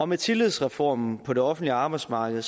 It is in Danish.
med tillidsreformen på det offentlige arbejdsmarked